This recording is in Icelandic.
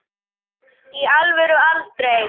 í alvöru aldrei